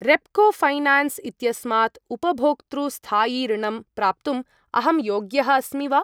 Repco finance इत्यस्मात् उपभोक्तृ स्थायि ऋणम् प्राप्तुम् अहं योग्यः अस्मि वा?